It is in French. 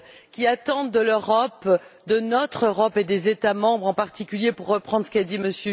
Ils attendent de l'Europe, de notre Europe et des États membres, en particulier, pour reprendre ce qu'a dit M.